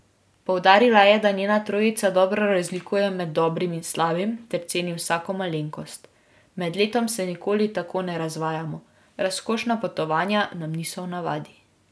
Poudarila je, da njena trojica dobro razlikuje med dobrim in slabim ter ceni vsako malenkost: 'Med letom se nikoli tako ne razvajamo, razkošna potovanja nam niso v navadi.